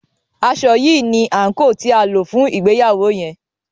aṣọ yí ní anko tí a lò fún ìgbéyàwó yen